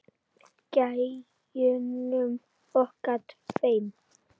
Gæjunum okkar tveim.